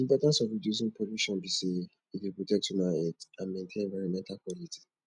di importance of reducing pollution be say e dey protect human health and maintain environmental quality